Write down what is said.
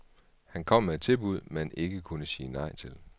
Han kom med et tilbud, man ikke kunne sige nej til.